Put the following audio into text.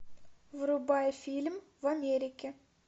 врубай фильм в америке